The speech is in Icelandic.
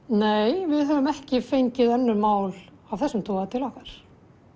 nei við höfum ekki fengið önnur mál af þessum toga til okkar